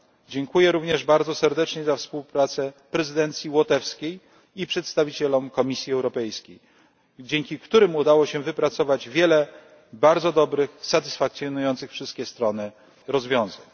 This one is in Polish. Dziękuję również bardzo serdecznie za współpracę prezydencji łotewskiej i przedstawicielom Komisji Europejskiej, dzięki którym udało się wypracować wiele bardzo dobrych, satysfakcjonujących wszystkie strony rozwiązań.